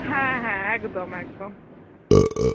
হ্যাঁ হ্যাঁ একদম একদম